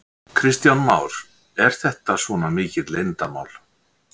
Kristján Már: Er þetta svona mikið leyndarmál?